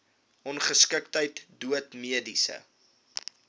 ongeskiktheid dood mediese